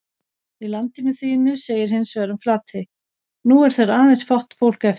Í Landinu þínu segir hins vegar um Flatey: nú er þar aðeins fátt fólk eftir